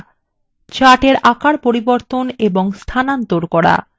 chartsএর আকার পরিবর্তন এবং স্থানান্তর করা